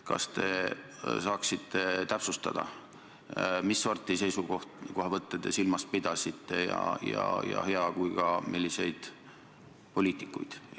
Kas te saaksite täpsustada, mis sorti seisukohavõtte te silmas pidasite, ja hea, kui täpsustaksite ka seda, milliseid poliitikuid te silmas pidasite.